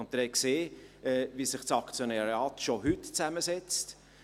Sie haben gesehen, wie sich das Aktionariat heute schon zusammensetzt.